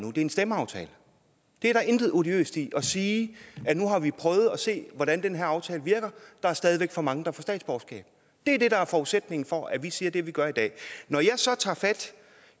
er en stemmeaftale der er intet odiøst i at sige at nu har vi prøvet at se hvordan den her aftale virker og der er stadig væk for mange der får statsborgerskab det er det der er forudsætningen for at vi siger det vi gør i dag når jeg så tager fat